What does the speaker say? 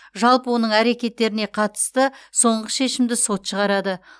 жалпы оның әрекеттеріне қатысты соңғы шешімді сот шығарады